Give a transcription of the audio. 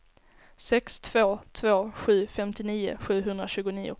sex två två sju femtionio sjuhundratjugonio